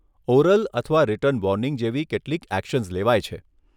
Oral અથવા written warning જેવી કેટલીક એક્શન્સ લેવાય છે.